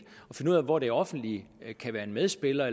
og at hvor det offentlige kan være en medspiller